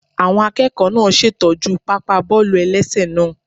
Àwọn akẹ́kọ̀ọ́ náà ṣè tọ́jú pápá bọ́ọ̀lù-ẹlẹ́sẹ̀ náà